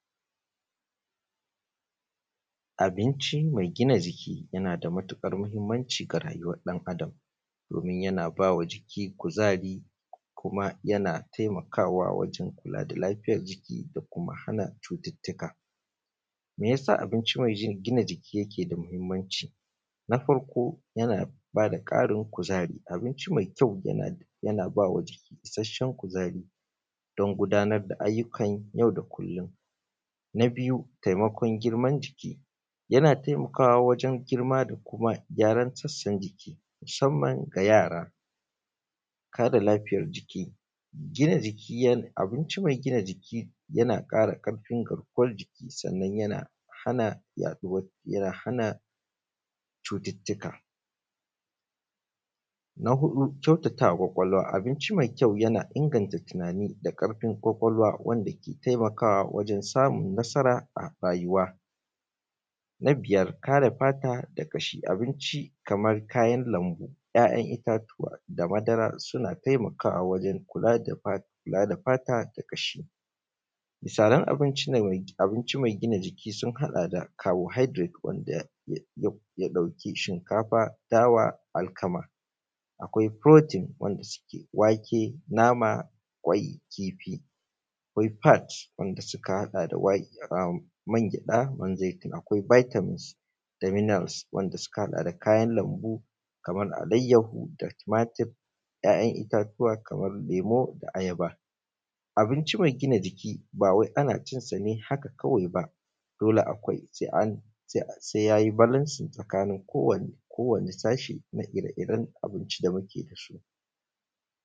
Abinci me gina jiki yana da matuƙar mahinmanci a rayuwan ɗan’Adam domin yana ba wa jiki kuzari kuma yana taimakawa wajen kula da lafiyan jiki da kuma hana cututttuka. Me yasa abinci me gina jiki yake da mahinmanci? Na farko yana ba da ƙarin kuzari, abinci me kyau yana ba wa jiki isashshen kuzari don gudanar da ayyukan yau da kullun, na biyu taimakon girman jiki na taimakawa wajen girma da kuma gyaran sassan jiki musanman ga yara, kare lafiyan jiki, abinci me gina jiki yana ƙara ƙarfin garkuwan jiki domin hana cututtuka, na huɗu kyautatama kwakwalwa don inganta tinani da ƙarfin kwakwalwa, yana taimakawa wajen samun nasara, na biyar kare fata daga ƙashi. Abinci kaman kayan lanbu, kayan itatuwa suna taimakawa da kula da fata da ƙashi, taran abinci me gina jiki sun haɗa da carbohydrate da shinkafa da alkama, akwai protein wanda suke wake, nama, kwai, kifi, akwai fat wanda suka haɗa da magyaɗa, man zaitun, akwai vitamin c, da minerals wanda suka haɗa da kayan lanbu kaman alaiyahu, tumatur, ‘ya’yan itatuwa kaman lemu, ayaba. Abinci me gina jiki ba wai ana cin sa ne haka kawai ba dole se ya yi balance tsakanin kowane sashi da ire-iren abinci da muke da su.